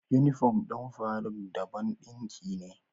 Unifom ɗin faruk dabon dinki ne